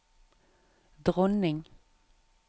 dronning